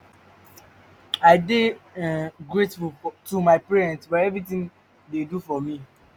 i dey um grateful to my parents for everything dey do for me